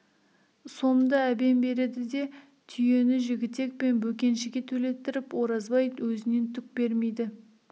сомды әбен береді де түйені жігітек пен бөкеншіге төлеттіріп оразбай өзінен түк бермейді